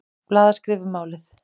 Blaðaskrif um málið.